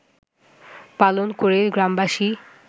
পালন করে গ্রামবাসী